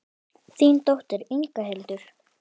Þín dóttir, Inga Hildur.